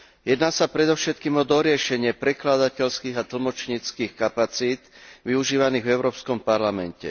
Ide predovšetkým o doriešenie prekladateľských a tlmočníckych kapacít využívaných v Európskom parlamente.